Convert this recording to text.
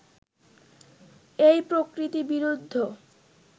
এই প্রকৃতিবিরুদ্ধ